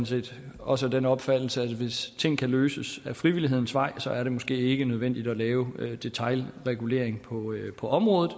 set også af den opfattelse at hvis ting kan løses ad frivillighedens vej er det måske ikke nødvendigt at lave detailregulering på området